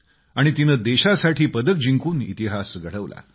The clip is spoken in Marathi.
आणि त्यांनी देशासाठी पदक जिंकून इतिहास घडवला